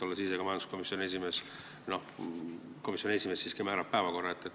Olles ise majanduskomisjoni esimees, tean, et komisjoni esimees siiski määrab kindlaks päevakorra.